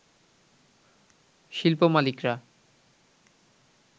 শিল্প মালিকরা